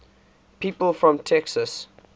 people from texas